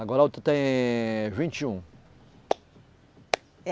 Agora a outra tem vinte e um.